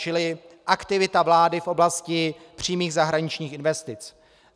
Čili aktivita vlády v oblasti přímých zahraničních investic.